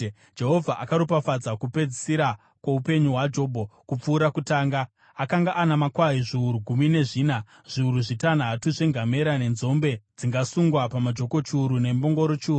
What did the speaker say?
Jehovha akaropafadza kupedzisira kwoupenyu hwaJobho kupfuura kutanga. Akanga ana makwai zviuru gumi nezvina, zviuru zvitanhatu zvengamera, nenzombe dzingasungwa pamajoko chiuru nembongoro chiuru.